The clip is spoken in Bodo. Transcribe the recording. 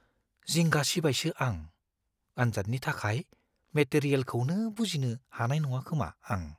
जिंगासिबायसो आं, आनजादनि थाखाय मेटेरियेलखौनो बुजिनो हानाय नङाखोमा आं।